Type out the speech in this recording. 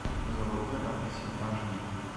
заводной апельсин аш ди